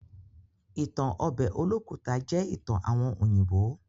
Ìtan obe Olókùta jẹ́ ìtan àwon òyìnbó.